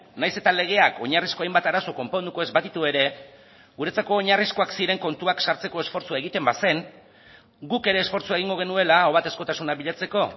nahiz eta legeak oinarrizko hainbat arazo konponduko ez baditu ere guretzako oinarrizkoak ziren kontuak sartzeko esfortzua egiten bazen guk ere esfortzua egingo genuela ahobatezkotasuna bilatzeko